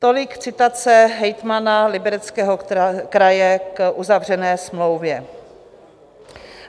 Tolik citace hejtmana Libereckého kraje k uzavřené smlouvě.